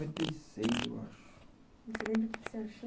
Você lembra o que você achou?